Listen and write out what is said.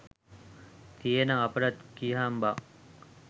තියේනම් අපිටත් කියහන් බං